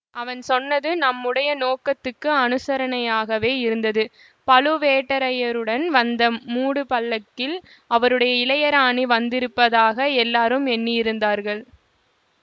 அவன் சொன்னது நம்முடைய நோக்கத்துக்கு அனுசரணையாகவே இருந்தது பழுவேட்டரையருடன் வந்த மூடு பல்லக்கில் அவருடைய இளையராணி வந்திருப்பதாக எல்லாரும் எண்ணியிருந்தார்கள்